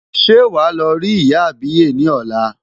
Ṣé wàá lọ rí ìyá àbíyè ni ọ̀la.